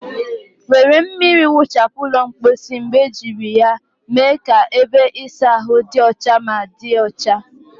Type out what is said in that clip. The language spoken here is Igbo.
Were mmiri nwuchapu ụlọ mposi mgbe ejiri ya mee ka ebe ịsa ahụ dị ọcha ma dị ọcha.